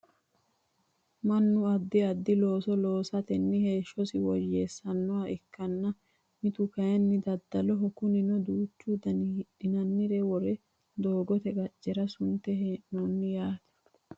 Mannu addi addi looso loosatenni heeshshosi woyyessannoha ikkanna mittu kayeenni daddaloho kunino duuchu dani hidhinannire worre doogote qaccera sunte hee'noonni yaate